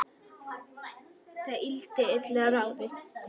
Það yrði illa ráðið.